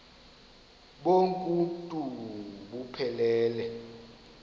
bonk uuntu buphelele